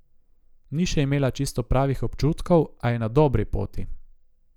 Ni še imela čisto pravih občutkov, a je na dobri poti.